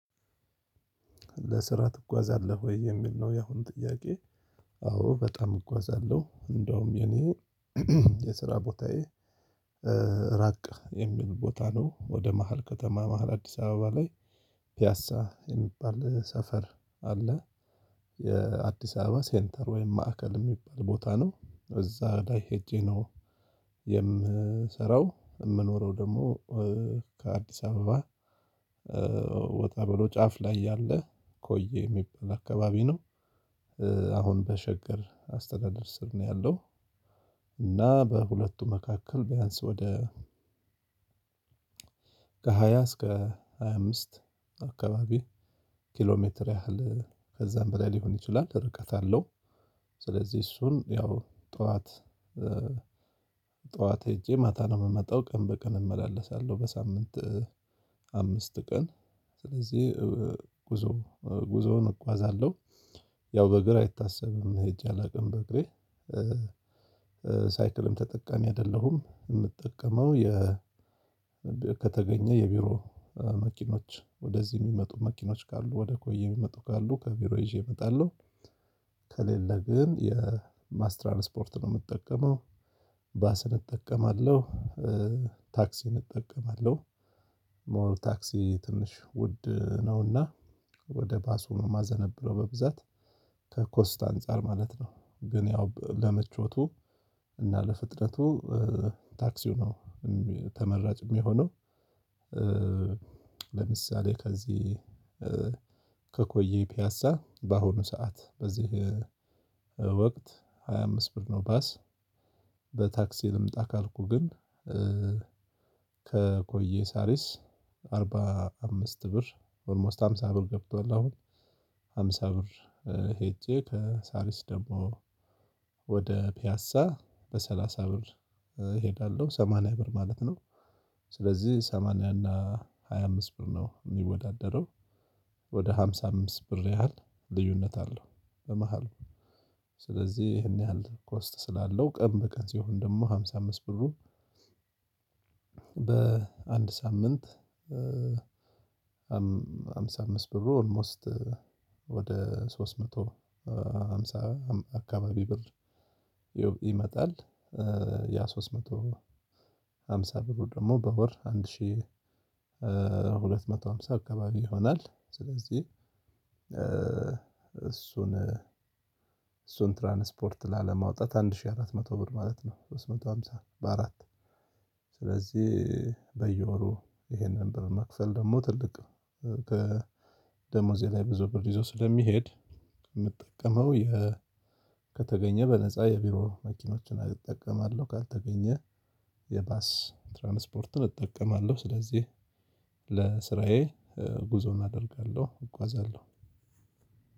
ለስራ ትጓዛለህ ወይ የሚል ነው ያሁን ጥያቄ? አዎ በጣም እጓዛለሁ እንደውም የኔ የስራ ቦታዬ ራቅ የሚል ቦታ ነው። ወደ መሃል ከተማ መሃል አዲስ አበባ ላይ ፒያሳ የሚባል ሰፈር አለ። የአዲስ አበባ ሴንተር ወይም ማዕከል የሚል ቦታ ነው እዛ ላይ ሄጄ ነው። የምሰራው የምኖረው ደግሞ ከአዲስ አበባ ወጣ ብሎ ጫፍ ላይ ያለ ኮዬ የሚባል አካባቢ ነው አሁን በሸገር አስተዳደር ስር ነው ያለው። እና በሁለቱ መካከል ቢያንስ ወደ ከሃያ እስከ ሃያ አምስት አካባቢ ኪሎ ሜትር ያህል ከዛም በላይ ሊሆን ይችላል ርቀት አለው። ስለዚህ እሱን ያው ጠዋት ጠዋት ሄጄ ማታ ነው የምመጣው ቀን በቀን እመላለሳለሁ። በሳምንት አምስት ቀን ስለዚህ ጉዞ ጉዞውን እጓዛለሁ። ያው በእግር አይታሰብም ሄጄ አላውቅም በእግሬ ሳይክልም ተጠቃሚ አይደለሁም የምትጠቀመው። ከተገኘ የቢሮ መኪኖች ወደዚህ የሚመጡ መኪኖች ካሉ ወደ ኮይ የሚመጡ ካሉ ከቢሮ ይዤ እመጣለሁ። ከሌለ ግን የባስ ትራንስፖርት ነው የምጠቀመው። ባስን እጠቀማለሁ። ታክሲም እጠቀማለሁ። ሞር ታክሲ ትንሽ ውድ ነውና ወደ ባሱ ነው ማዘነብ ብሎ በብዛት ከኮስት አንፃር ማለት ነው። ግን ያው ለምቾቱ እና ለፍጥነቱ ታክሲው ነው ተመራጭም የሚሆነው። ለምሳሌ ከዚህ ከቆየ ፒያሳ በአሁኑ ሰዓት በዚህ ወቅት ሃያ አምስት ብር ነው። ባስ በታክሲ ልምጣ ካልኩ ግን ከኮዬ ሳሪስ አርባ አምስት ብር ኦልሞስት ሃምሳ ብር ገብቷል። አሁን ሃምሳ ብር ሄጄ ከሳሪስ ደግሞ ወደ ፒያሳ በሰላሳ ብር እሄዳለሁ ሰማንያ ብር ማለት ነው። ስለዚህ ሰማንያ እና ሃያ አምስት ብር ነው የሚወዳደረው። ወደ ሃምሳ አምስት ብር ያህል ልዩነት አለው። በመሃል ስለዚህ ይሄን ያህል ኮስት ስላለው ቀን በቀን ሲሆን ደግሞ ሃምሳ አምስት ብሩ። በአንድ ሳምንት ሃምሳ አምስት ብሩ ኦልሞስት ወደ ሶስት መቶ ሃምሳ አካባቢ ብር ይመጣል። ያ ሶስት መቶ ሃምሳ ብሩ ደግሞ በወር አንድ ሺህ ሁለት መቶ ሃምሳ አካባቢ ይሆናል። ስለዚህ እሱን እሱን ትራንስፖርት ላለማውጣት አንድ ሺህ አራት መቶ ብር ማለት ነው። ሶስት መቶ ሃምሳ በአራት ስለዚህ በየወሩ ይሄንን ብር መክፈል ደግሞ ትልቅ ከደሞዜ ላይ ብዙ ብር ይዞ ስለሚሄድ የምጠቀመው። ከተገኘ በነፃ የቢሮ መኪኖችን እጠቀማለሁ ካልተገኘ የባስ ትራንስፖርትን እጠቀማለሁ። ስለዚህ ለስራዬ ጉዞ አደርጋለሁ እጓዛለሁ።